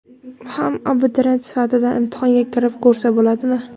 ham abituriyent sifatida imtihonga kirib ko‘rsa bo‘ladimi?.